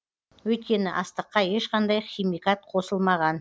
өйткені астыққа ешқандай химикат қосылмаған